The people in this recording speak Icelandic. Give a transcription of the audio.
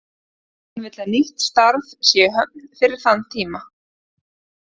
Hann vill að nýtt starf sé í höfn fyrir þann tíma.